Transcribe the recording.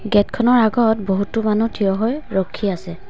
Gate খনৰ আগত বহুতো মানুহ থিয় হৈ ৰখি আছে।